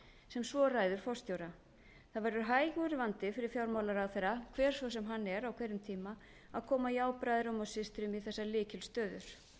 sem svo ræður forstjóra það verður hægur vandi fyrir fjármálaráðherra hver svo sem hann er á hverjum tíma að koma jábræðrum og systrum í þessar lykilstöður